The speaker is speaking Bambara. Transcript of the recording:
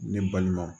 Ne balimaw